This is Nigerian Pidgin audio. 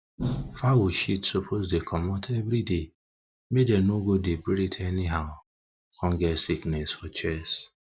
fowl shit suppose dey comot everyday make dem no go dey breath anyhow come get sickness for chest